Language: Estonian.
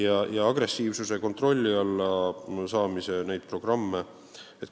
On olemas agressiivsuse kontrolli alla saamise programme.